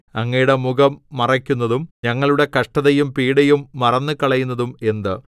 അങ്ങയുടെ മുഖം മറയ്ക്കുന്നതും ഞങ്ങളുടെ കഷ്ടതയും പീഡയും മറന്നുകളയുന്നതും എന്ത്